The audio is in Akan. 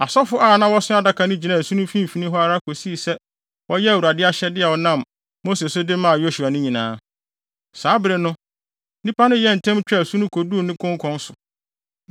Asɔfo a na wɔso adaka no gyinaa asu no mfimfini hɔ ara kosii sɛ wɔyɛɛ Awurade ahyɛde a ɔnam Mose so de maa Yosua no nyinaa. Saa bere no, nnipa no yɛɛ ntɛm twaa asu no koduu ne konkɔn so.